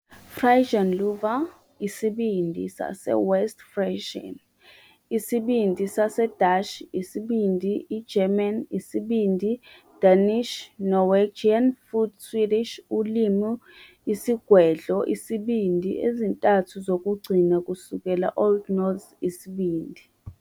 Frisian Lieuwer "Isibindi", saseWest Frisian "Isibindi", saseDashi "Isibindi", i- German "Isibindi", Danish, Norwegian futhi Swedish ulimi isigwedlo "isibindi" ezintathu zokugcina kusukela Old Norse "Isibindi".